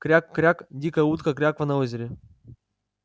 кряк-кряк дикая утка кряква на озере